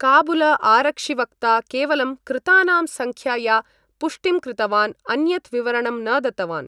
काबुल आरक्षिवक्ता केवलं कृतानां संख्याया पुष्टिं कृतवान् अन्यत् विवरणं न दत्तवान्।